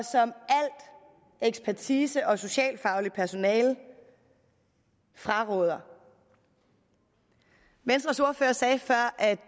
ekspertise og alt socialfagligt personale fraråder venstres ordfører sagde før at